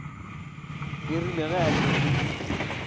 e rile ge a šetše